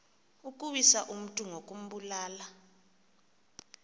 ukuwisa umntu ngokumbulala